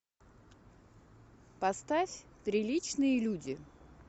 поставь приличные люди